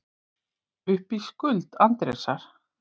Upp í skuld Andrésar